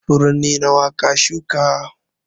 Furanni nawa ka shuka?